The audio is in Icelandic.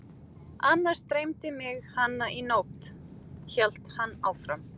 Annars dreymdi mig hana í nótt, hélt hann áfram.